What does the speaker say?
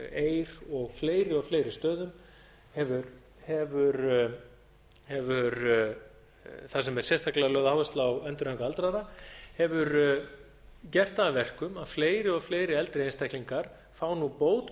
eir og fleiri og fleiri stöðum þar sem er sérstaklega lögð áhersla á endurhæfingu aldraðra hefur gert á að verkum að fleiri og fleiri eldri einstaklingar fá nú bót